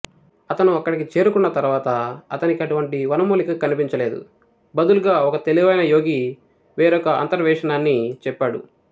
అతను అక్కడికి చేరుకున్న తర్వాత అతనికి అటువంటి వనమూలిక కనిపించలేదు బదులుగా ఒక తెలివైన యోగి వేరొక అంతర్వేశనాన్ని చెప్పాడు